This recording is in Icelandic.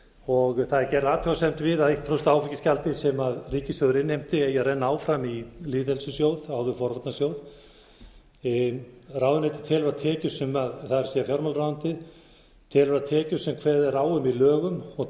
og það er gerð athugasemd við að eitt prósent áfengisgjaldið sem ríkissjóður innheimti eigi að renna áfram í lýðheilsusjóð áður forvarnasjóð ráðuneytið telur að tekjur sem það er fjármálaráðuneytið telur að tekjur sem kveðið er á um í lögum og